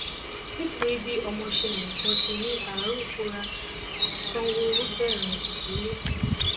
nítorí bí ọmọọṣẹ rẹ kan ṣe ní arú kóra sanwóoru bẹrẹ ìgbẹlẹ